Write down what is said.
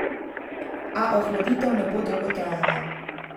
A ohladitev ne bo dolgo trajala.